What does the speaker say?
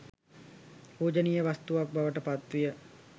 පූජනීය වස්තුවක් බවට පත් විය.